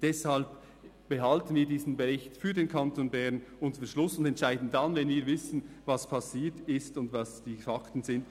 Deshalb behalten wir diesen Bericht für den Kanton Bern unter Verschluss und entscheiden dann, wenn wir wissen, was passiert ist und welches die Fakten sind.